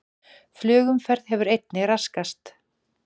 Flugumferð hefur einnig raskast